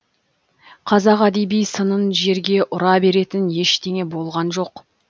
қазақ әдеби сынын жерге ұра беретін ештеңе болған жоқ